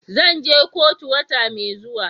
Zan je kotu wata mai zuwa.